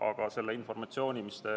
Aga selle informatsiooni, mis te